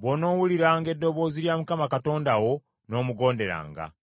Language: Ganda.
bw’onoowuliranga eddoboozi lya Mukama Katonda wo n’omugonderanga: